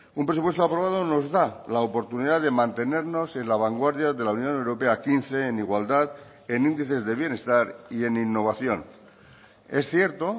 un presupuesto aprobado nos da la oportunidad de mantenernos en la vanguardia de la unión europea quince en igualdad en índices de bienestar y en innovación es cierto